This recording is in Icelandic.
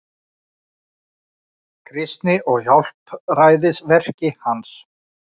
Kristi og hjálpræðisverki hans.